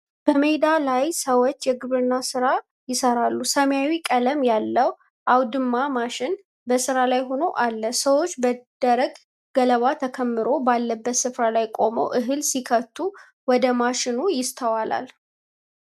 በሜዳ ላይ ሰዎች የግብርና ሥራ ይሰራሉ። ሰማያዊ ቀለም ያለው አውድማ ማሽን በሥራ ላይ ሆኖ አለ። ሰዎች በደረቅ ገለባ ተከምሮ ባለበት ስፍራ ላይ ቆመው እህል ሲከቱ ወደ ማሽኑ ይስተዋላል።